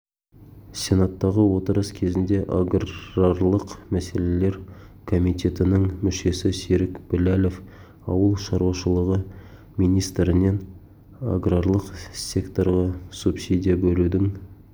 сенаттағы отырыс кезінде аграрлық мәселелер комитетінің мүшесі серік біләлов ауыл шаруашылығы министрінен аграрлық секторға субсидия бөлудің